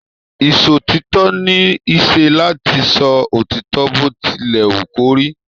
Isòtítọ ní isé láti sọ òtítọ bó tí lè wú kò rí.